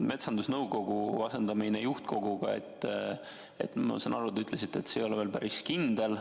Metsandusnõukogu asendamine juhtkoguga, ma saan aru, ei ole veel päris kindel.